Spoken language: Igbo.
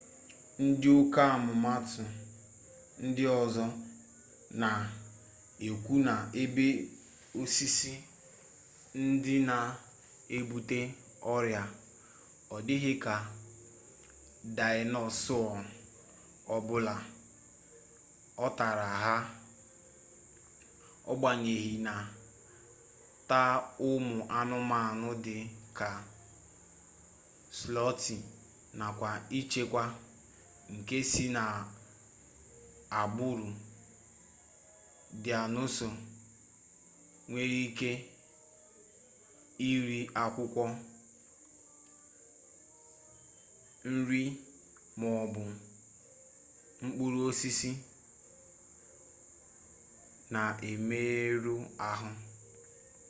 ndị ọkammụta ndị ọzọ na-ekwu na ebe osisi ndị a na-ebute ọrịa ọ dịghị ka daịnosọọ ọbụla ọ tara ha agbanyeghị na taa ụmụanụmanụ dị ka slọtụ nakwa icheku nke si n'agbụrụ daịnosọọ nwere ike iri akwụkwọ nri maọbụ mkpụrụ osisi na-emerụ ahụ